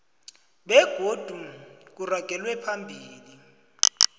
begodu kuragelwe phambili